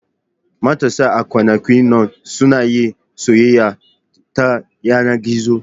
Matasa a kwanakin nan suna yin soyayya ta yanar gizo.